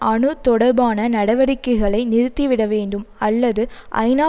அணு தொடர்பான நடவடிக்கைகளை நிறுத்திவிட வேண்டும் அல்லது ஐநா